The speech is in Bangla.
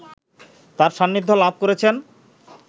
তাঁর সান্নিধ্য লাভ করেছেন